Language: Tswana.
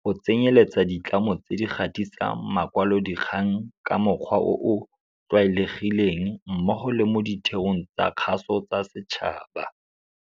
go tsenyeletsa ditlamo tse di gatisang makwalodikgang ka mokgwa o o tlwaelegileng mmogo le mo ditheong tsa kgaso tsa setšhaba.